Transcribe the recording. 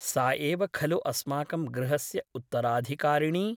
सा एव खलु अस्माकं गृहस्य उत्तराधिकारिणी ?